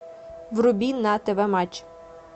вруби на тв матч